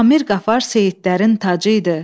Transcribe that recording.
Amir Qafar Seyidlərin tacı idi.